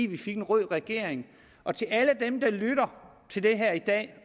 vi fik en rød regering og til alle dem der lytter til det her i dag